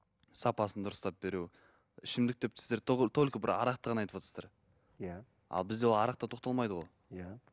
сапасын дұрыстап беру ішімдік деп сіздер только бір арақты ғана айтыватсыздар иә ал бізде ол арақта тоқталмайды ғой иә